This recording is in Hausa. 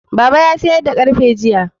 Baba ya sayar da ƙarfe jiya